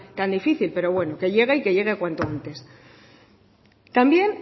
tan difícil pero bueno que llegue y que llegue cuanto antes también